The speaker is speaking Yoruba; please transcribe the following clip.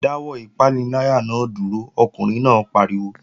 Dáwọ́ ìpaniláyà náà dúró! Ọkùnrin náà pariwo